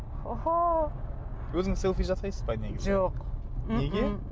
өзіңіз селфи жасайсыз ғой негізі жоқ неге